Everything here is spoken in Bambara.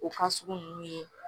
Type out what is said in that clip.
O fasugu nunnu ye